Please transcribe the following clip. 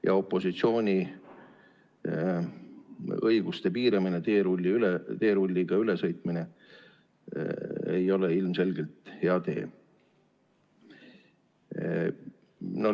Ja opositsiooni õiguste piiramine, teerulliga ülesõitmine ei ole ilmselgelt hea tee.